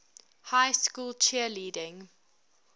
high school cheerleading